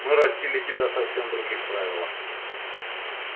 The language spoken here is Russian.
мы растили тебя совсем в других правилах